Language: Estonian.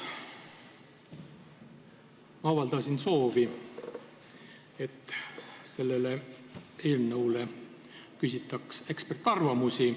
Ma avaldasin korduvalt soovi, et selle eelnõu kohta küsitaks eksperdiarvamusi.